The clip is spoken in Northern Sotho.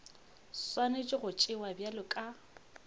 swanetše go tšewa bjalo ka